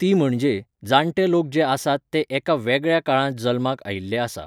ती म्हणजे, जाणटे लोक जे आसात ते एका वेगळ्या काळांत जल्माक आयिल्ले आसा.